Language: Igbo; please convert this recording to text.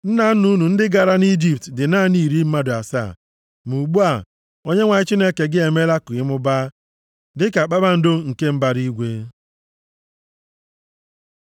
Nna nna unu ndị gara nʼIjipt dị naanị iri mmadụ asaa, ma ugbu a, Onyenwe anyị Chineke gị emeela ka ịmụbaa dịka kpakpando nke mbara igwe.